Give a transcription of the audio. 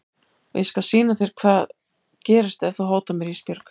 Og ég skal sýna þér hvað gerist ef þú hótar mér Ísbjörg.